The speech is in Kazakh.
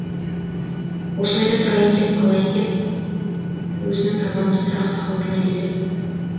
осы ойда тұрайын да қалайын деп өзінің табанды тұрақты қалпына келді